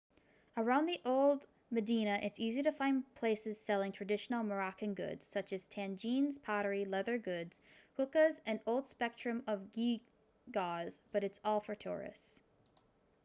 around the old medina it's easy to find places selling traditional moroccan goods such as tagines pottery leather goods hookahs and a whole spectrum of geegaws but it's all for the tourists